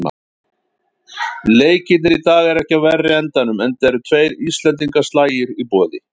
Leikirnir í dag eru ekki af verri endanum, enda eru tveir íslendingaslagir í boði.